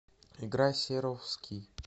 играй серовский